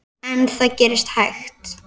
En það gerist hægt.